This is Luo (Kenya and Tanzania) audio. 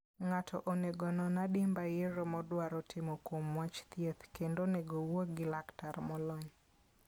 Ng'ato onego onon adimba yiero modwaro timo kuom wach thieth, kendo onego owuo gi laktar molony.